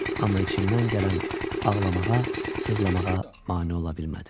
Amma içimdən gələn ağlamağa, sızlamağa mane ola bilmədim.